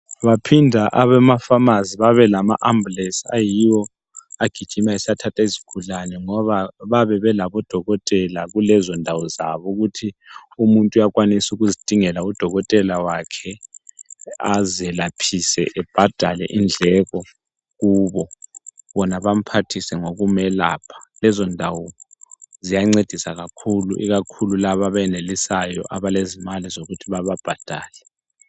Baphinda abemafamasi baba lama ambulance ayiwo agijima esiyathatha izigulane ngoba babe belabo dokotela kulenzo ndawo zabo ukuthi umuntu uyakwanisa ukuzingela udokotela wakhe azelaphise ebhadale indleko kubo, bona bamphathise ngokumelapha lezo ndawo ziyancedisa kakhulu ikakhulu laba abenelisayo abalezimali zokuthi bebabhadale.